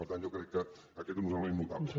per tant jo crec que aquest és un element notable